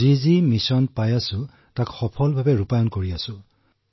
এই মিছন আমি ভালদৰেই সম্পন্ন কৰিছো